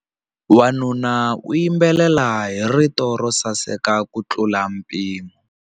Wanuna u yimbelela hi rito ro saseka kutlula mpimo.